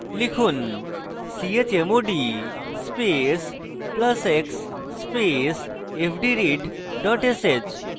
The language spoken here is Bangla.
লিখুন: chmod space plus x space fdread dot sh